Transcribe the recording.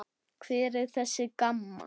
Hver er þessi Gamma?